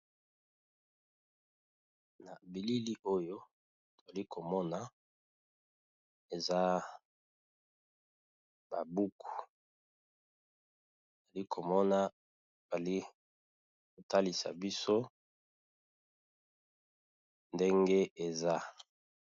na bilili oyo tolikomona eza babuku tolikomona balikotalisa biso ndenge eza